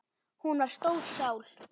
Hún var stór sál.